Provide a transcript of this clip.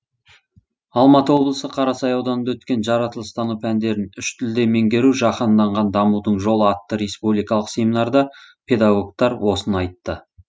алматы облысы қарасай ауданында өткен жаратылыстану пәндерін үш тілде меңгеру жаһанданған дамудың жолы атты республикалық семинарда педагогтар осыны айтты